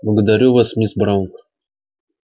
благодарю вас мисс браун